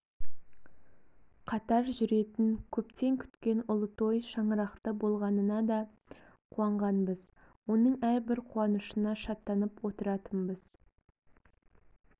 қатар жүретін көптен күткен ұлы той шаңырақты болғанына да қуанғанбыз оның әрбір қуанышына шаттанып отыратынбыз